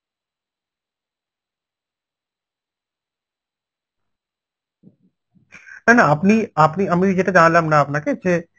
না না আপনি আপনি আমি যেটা জানলাম না আপনাকে যে